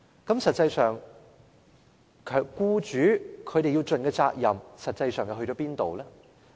在這情況下，僱主應盡的責任實際上去了哪裏？